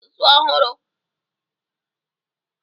Mụta asụsụ ọhụrụ